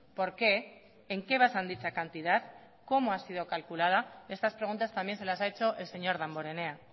por qué en qué basan dicha cantidad cómo ha sido calculada estas preguntas también se las ha hecho el señor damborenea